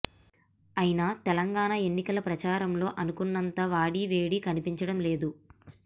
అయినా తెలంగాణ ఎన్నికల ప్రచారంలో అనుకున్నంత వాడి వేడి కనిపించడం లేదు